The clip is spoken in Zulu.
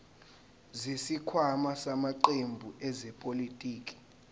zesikhwama samaqembu ezepolitiki